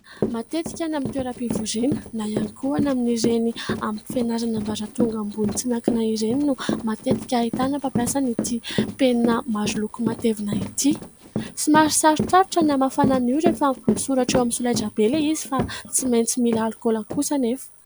Matetika any amin'ny toeram-pivoriana na ihany koa any amin'ireny amin'ny fianarana ambaratonga ambony tsy miankina ireny no matetika ahitana mpampiasana ity penina maro loko matevina ity. Somary sarotrarotra ny hamafana io rehefa misoratra eo amin'ny solaitra be ilay izy fa tsy maintsy mila alkaola kosa nefa.